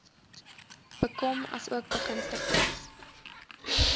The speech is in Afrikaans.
bekom asook begunstigdes